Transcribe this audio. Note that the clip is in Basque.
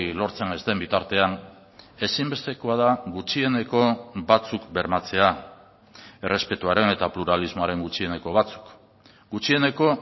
lortzen ez den bitartean ezinbestekoa da gutxieneko batzuk bermatzea errespetuaren eta pluralismoaren gutxieneko batzuk gutxieneko